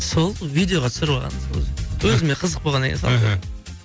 сол видеоға түсіріп алғанмын өзіме қызық болғаннан кейін іхі